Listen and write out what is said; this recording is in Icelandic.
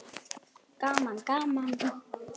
Gaman gaman!